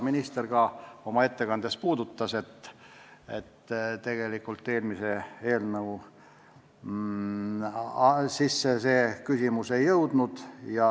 Minister ka oma ettekandes puudutas seda, et eelmisesse eelnõusse see küsimus ei jõudnud.